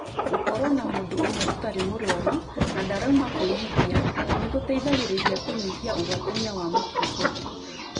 Gũkorũo na mũndũ ũmwe ũtarĩ mũrwarũ na ndarauma kũiyithia nĩgũteithagĩrĩria kũnyihia ũgwatania wa mũkingo